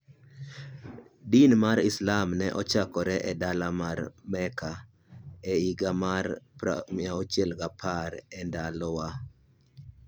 Din mar Islam ne ochakore e dala mar Mecca e higa mar 610 E Ndalowa.